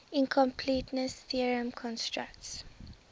incompleteness theorem constructs